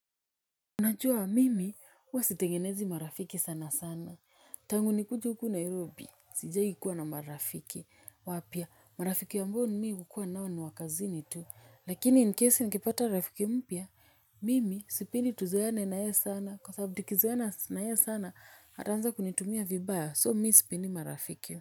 Unajua mimi, huwa sitengenezi marafiki sana sana. Tangu nikuje huku Nairobi, sijawahi kuwa na marafiki. Wapya, marafiki ambao mii hukuwa nao ni wakazini tu. Lakini, in case nikipata marafiki mpya, mimi, sipendi tuzoane na ye sana. Kwa sababu tukizoeana na ye sana, ataanza kunitumia vibaya. So, mii sipendi marafiki.